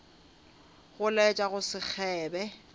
go laetša go se kgebe